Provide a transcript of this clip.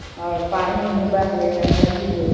और पानी ओनी बह गया। नदी कोई --